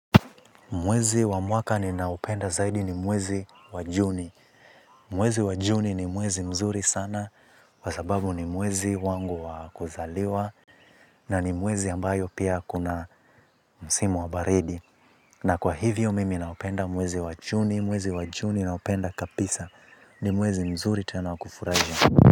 Mwezi wa mwaka ninaopenda zaidi ni mwezi wa juni. Mwezi wa juni ni mwezi mzuri sana. Kwa sababu ni mwezi wangu wa kuzaliwa. Na ni mwezi ambayo pia kuna msimu wa baridi. Na kwa hivyo mimi naupenda mwezi wa juni. Mwezi wa juni naupenda kapisa. Ni mwezi mzuri tena wa kufurahia.